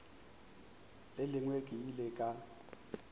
le lengwe ke ile ka